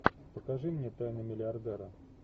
покажи мне тайны миллиардера